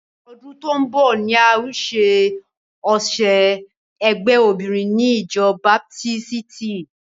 Ọdún tó ń bọ̀ ni a o ṣe ọ̀sẹ̀ ẹgbé obinrin ni ìjọ baptisti.